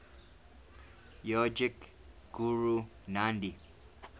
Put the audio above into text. yogic guru nandhi